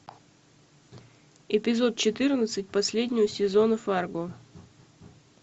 эпизод четырнадцать последнего сезона фарго